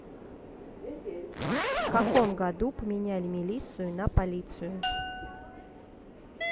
в каком году поменяли милицию на полицию